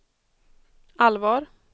allvar